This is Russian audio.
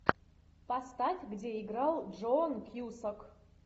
поставь где играл джон кьюсак